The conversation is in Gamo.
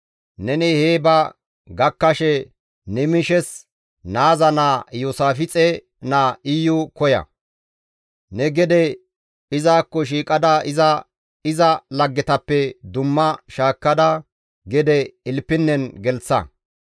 Neni hee ba gakkashe Nimishes naaza naa Iyoosaafixe naa Iyu koya. Ne gede izakko shiiqada iza iza laggetappe dumma shaakkada gede ilpinnen gelththa.